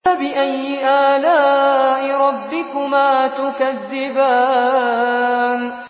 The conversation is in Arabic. فَبِأَيِّ آلَاءِ رَبِّكُمَا تُكَذِّبَانِ